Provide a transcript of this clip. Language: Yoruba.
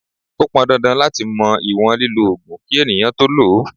Ó pọn dandan láti mọ ìwọ̀n lílọ Ògùn kí ènìyàn tó lọ.